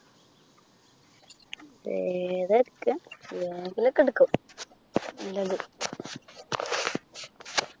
ഏതാ എടുക്കാ ഏതെങ്കിലും ഒക്കെ എടുക്കും നല്ലത്